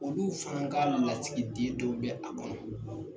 Olu fana ka lasigi den dɔ bɛ a kɔnɔ.